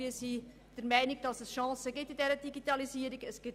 Wir sind der Meinung, dass die Digitalisierung Chancen birgt.